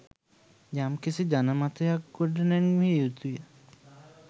යමිකිසි ජන මතයක් ගොඩ නැන්විය යුතුය